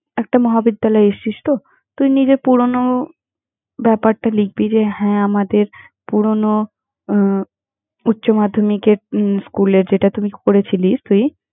একটা মহাবিদ্যালয়ে এসছিস তো, তুই নিজের পুরোনো ব্যাপারটা লিখবি যে, হ্যাঁ আমাদের পুরোনো আহ উচ্চ মাধ্যমিকের উম school এ যেটা তুমি করেছিলি, তুই।